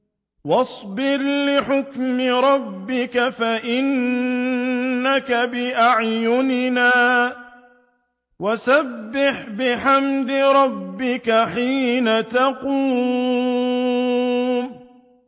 وَاصْبِرْ لِحُكْمِ رَبِّكَ فَإِنَّكَ بِأَعْيُنِنَا ۖ وَسَبِّحْ بِحَمْدِ رَبِّكَ حِينَ تَقُومُ